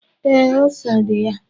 Ee, ose dị ya.